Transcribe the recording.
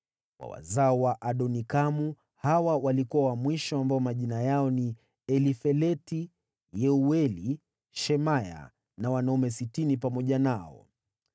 wa wazao wa Adonikamu, hawa walikuwa wa mwisho ambao majina yao ni Elifeleti, Yeueli, Shemaya na wanaume 60 pamoja nao;